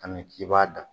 Kam k'i b'a da